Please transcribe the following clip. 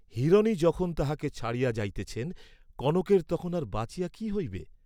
হিরণই যখন তাহাকে ছাড়িয়া যাইতেছেন, কনকের তখন আর বাঁচিয়া কি হইবে?